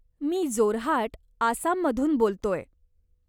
मी जोरहाट, आसाममधून बोलतोय.